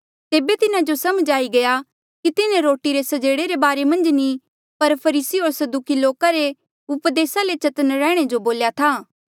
तेबे तिन्हा जो समझ आई गया कि तिन्हें रोटी रे स्जेड़े रे बारे मन्झ नी पर फरीसी होर सदूकी लोका री उपदेस ले चतन्न रैहणे जो बोल्या था